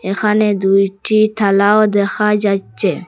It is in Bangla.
এখানে দুইটি থালাও দেখা যাচ্ছে।